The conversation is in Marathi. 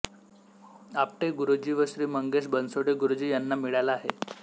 आपटे गुरुजी व श्री मंगेश बणसोडे गुरुजी यांना मिळाला आहे